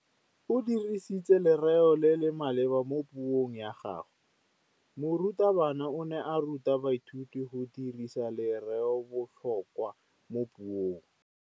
O dirisitse lerêo le le maleba mo puông ya gagwe. Morutabana o ne a ruta baithuti go dirisa lêrêôbotlhôkwa mo puong.